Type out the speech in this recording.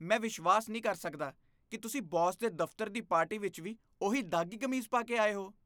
ਮੈਂ ਵਿਸ਼ਵਾਸ ਨਹੀਂ ਕਰ ਸਕਦਾ ਕਿ ਤੁਸੀਂ ਬੌਸ ਦੇ ਦਫ਼ਤਰ ਦੀ ਪਾਰਟੀ ਵਿੱਚ ਵੀ ਉਹੀ ਦਾਗ਼ੀ ਕਮੀਜ਼ ਪਾ ਕੇ ਆਏ ਹੋ।